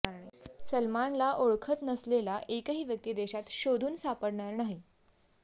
सलमानला ओळखत नसलेला एकही व्यक्ती देशात शोधून सापडणार नाही